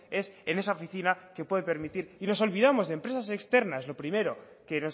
es en esa oficina que puede permitir y nos olvidamos de empresas externas lo primero que